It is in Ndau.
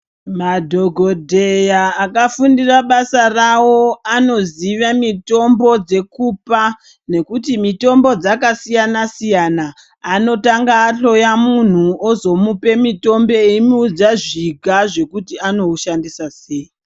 Madhokodheya akafundira basa rawo Anoziva mitombo dzekupa nekuti mitombo dzakasiyana siyana azomuoa mitombo eimuudza zviga zvekuti anoshandisa sei.